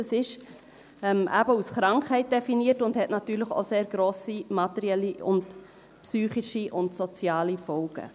Das ist eben als Krankheit definiert und hat natürlich auch sehr grosse materielle, psychische und soziale Folgen.